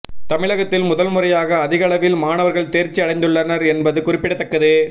தமிழகத்தில் முதல் முறையாக அதிகளவில் மாணவர்கள் தேர்ச்சி அடைந்துள்ளனர் என்பது குறிப்பிடத்தக்கது